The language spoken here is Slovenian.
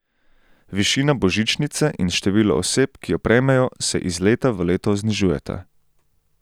Višina božičnice in število oseb, ki jo prejmejo, se iz leta v leto znižujeta.